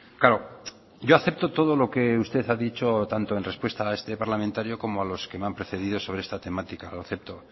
claro yo acepto todo lo que usted ha dicho tanto en respuesta a este parlamentario como a los que me han precedido sobre esta temática lo acepto